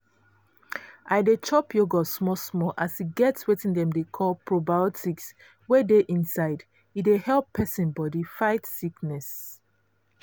i dey chop yogurt small small as e get wetin dem dey call probiotics wey dey inside e dey help persin body fight sickness.